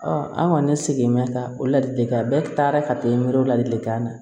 an kɔni sigi bɛ ka o ladilikan bɛɛ taara ka miiri o ladilikan na